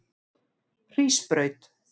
Hrísbraut